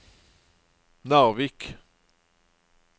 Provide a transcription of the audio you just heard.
Narvik